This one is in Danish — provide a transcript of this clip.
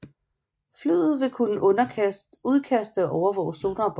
Flyet vil også kunne udkaste og overvåge sonarbøjer